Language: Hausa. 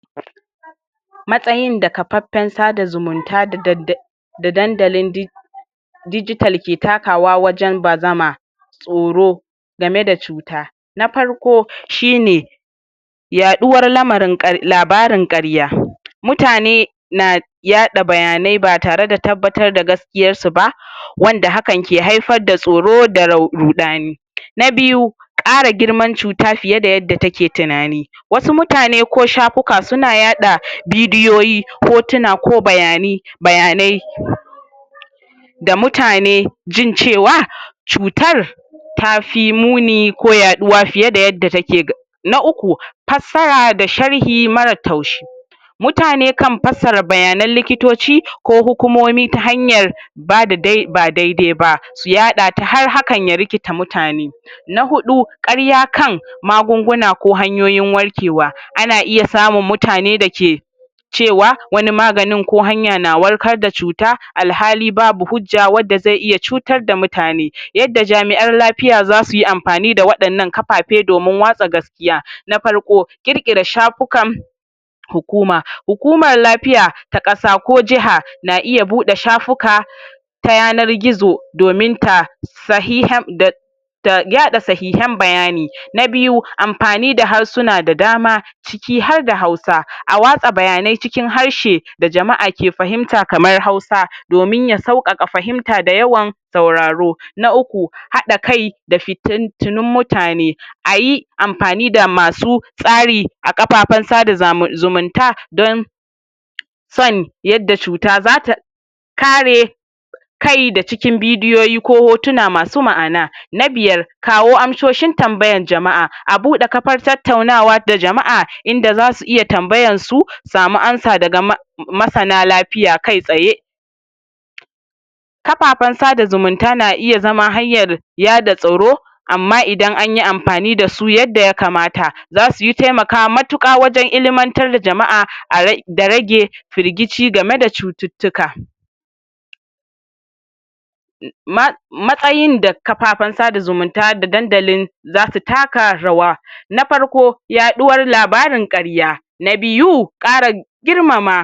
Matsayin da kafaffen sada zumunta dadadda da dandalin di dijital ke takawa wajen bazama tsoro game da cuta. Na farko shi ne yaɗuwar lamarin ƙar labarin ƙarya. Mutane na yaɗa bayanai ba tare da tabbatar da gaskiyar su ba wanda hakan ke haifar da tsoro da rau ruɗani. Na biyu ƙara girman cuta fiye da yadda take tunani wasu mutane ko shafuka su na yaɗa bidiyoyi, hotuna ko bayane, bayanai da mutane jin cewa cutar tafi muni ko yaɗuwa fiye da yadda take. Na uku fassara da sharhi marar taushi mutane kan fassara bayanan likitoci ko hukumomi ta hanyar ba da dai, ba dai-dai ba. Su yaɗa ta har hakan ya rikita mutane. Na huɗu ƙarya kan magunguna ko hanyoyin warkewa. Ana iya samun mutane da ke cewa wani maganin ko hanya na warkar da cuta, alhali babu hujja wadda zai iya cutar da mutane. Yadda jami'an lafiya za su yi amfani da waɗannan kafafe domin watsa gaskiya. Na farko ƙir-ƙira shafukan hukuma. Hukumar lafiya ta ƙasa ko jaha na iya buɗe shafuka ta yanar-gizo domin ta sahiham da da yaɗa sahihan bayani. Na biyu amfani da harsuna da dama ciki har da Hausa. A watsa bayanai cikin harshe da jama'a ke fahimta kamar Hausa domin ya sauƙaƙa fahimta da yawan sauraro. Na uku haɗa kai da fitintinun mutane ayi amfani da masu tsari a kafafen sada zamun zumunta don son yadda cuta zata kare kai da cikin bidiyoyi ko hotuna masu ma'ana. Na biyar kawo amsoshin tambayan jama'a. A buɗe kafar tattaunawa da jama'a inda za su iya tambayan su samu anas daga masana lafiya kai-tsaye. Kafafen sada zumunta na iya zama hanyar yada tsoro amma idan anyi amfani da su yadda ya kamata za suyi taimaka matuƙa wajen ilmantar da jama'a a ra da rage firgici game da cututtuka. Ma matsayin da kafafen sada zumunta da dandalin za su taka rawa. Na farko yaɗuwar labarin ƙarya. Na biyu ƙara girmama